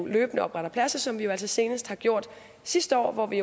løbende opretter pladser som vi altså senest har gjort sidste år hvor vi